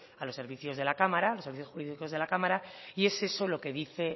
a los servicios jurídicos de la cámara y es eso lo que dice